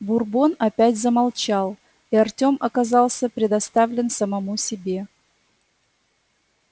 бурбон опять замолчал и артем оказался предоставлен самому себе